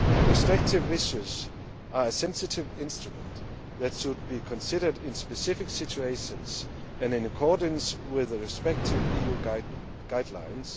Restrictive measures are a sensitive instrument that should be considered in specific situations and in accordance with the respective EU guidelines.